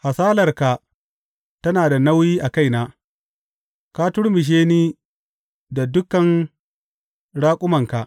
Hasalarka tana da nauyi a kaina; ka turmushe ni da dukan raƙumanka.